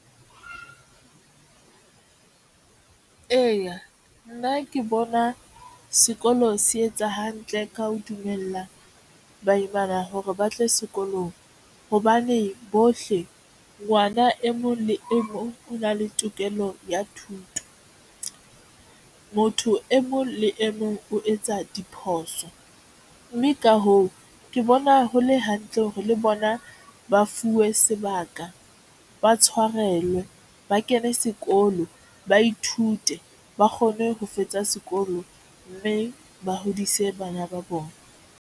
Eya, nna ke bona sekolo se etsa hantle ka ho dumella baimana hore ba tle sekolong hobane bohle ngwana e mong le e mong o na le tokelo ya thuto. Motho e mong le e mong o etsa diphoso mme ka hoo, ke bona ho le hantle hore le bona ba fuwe sebaka, ba tshwarelwe ba kene sekolo, ba ithute, ba kgone ho fetsa sekolo mme ba hodise bana ba bona.